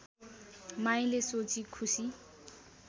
माईले सोची खुसी